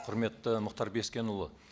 құрметті мұхтар бескенұлы